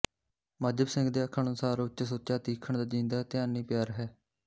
ਮਜ਼੍ਹਬ ਪੂਰਨ ਸਿੰਘ ਦੇ ਆਖਣ ਅਨੁਸਾਰ ਉੱਚ ਸੁੱਚਾ ਤੀਖਣ ਤੇ ਜੀਂਦਾ ਧਿਆਨੀ ਪਿਆਰ ਹੈ